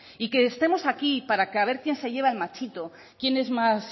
y que estemos aquí para ver quién se lleva el machito quién es más